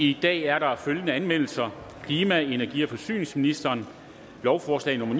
i dag er der følgende anmeldelser klima energi og forsyningsministeren lovforslag nummer